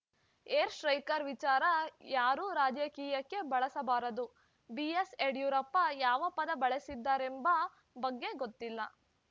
air striker ವಿಚಾರ ಯಾರೂ ರಾಜಕೀಯಕ್ಕೆ ಬಳಸಬಾರದು ಬಿಎಸ್‌ಯಡಿಯೂರಪ್ಪ ಯಾವ ಪದ ಬಳಸಿದ್ದಾರೆಂಬ ಬಗ್ಗೆ ಗೊತ್ತಿಲ್ಲ